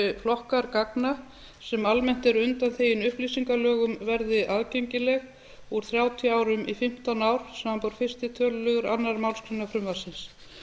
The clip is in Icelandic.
flokkar gagna sem almennt eru undanþegnir upplýsingalögum verði aðgengilegir úr þrjátíu árum í fimmtán ár samanber fyrsta tölulið annarrar málsgreinar frumvarpsins